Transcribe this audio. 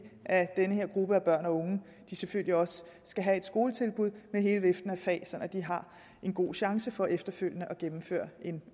at den her gruppe af børn og unge selvfølgelig også skal have et skoletilbud med hele viften af fag sådan at de har en god chance for efterfølgende at gennemføre en